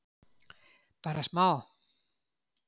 Bara smá?